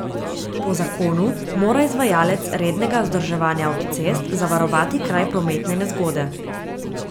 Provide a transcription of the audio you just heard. Po zakonu mora izvajalec rednega vzdrževanja avtocest zavarovati kraj prometne nezgode.